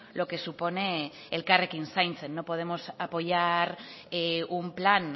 lo que supone elkarrekin zaintzen no podemos apoyar un plan